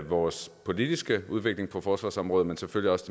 vores politiske udvikling på forsvarsområdet men selvfølgelig også